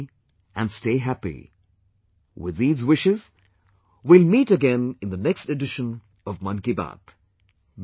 Stay healthy and stay happy, with these wishes, we will meet again in the next edition of Mann Ki Baat